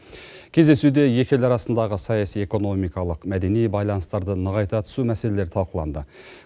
кездесуде екі ел арасындағы саяси экономикалық мәдени байланыстарды нығайта түсу мәселелері талқыланды